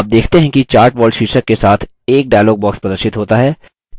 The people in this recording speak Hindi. आप देखते हैं कि chart wall शीर्षक के साथ एक dialog box प्रदर्शित होता है